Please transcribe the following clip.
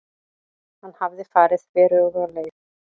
Hann hafði farið þveröfuga leið.